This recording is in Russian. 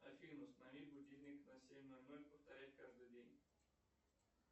афина установи будильник на семь ноль ноль повторять каждый день